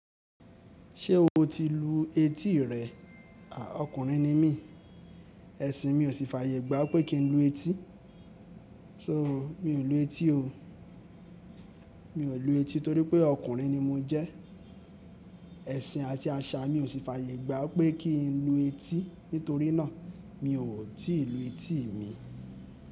Ṣé o ti lu etí rẹ? A, ọkùnrin ni mí, ẹ̀sìn mi ò sì fàyè gbá pé kí n lu etí. So mi ò lu etí o. Mi ò lu etí torí pé ọkùnrin ni mo jẹ́. Ẹ̀sìn àti àṣà mi ò sì fàyè gbá pé kí n lu etí. Nítorí náà mi ò tí lu etí mi.